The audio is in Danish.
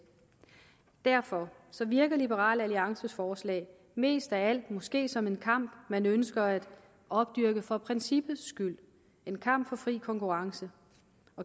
derfor virker liberal alliances forslag mest af alt måske som en kamp man ønsker at opdyrke for princippets skyld en kamp for fri konkurrence